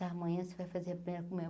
Amanhã você vai fazer a primeira comunhão.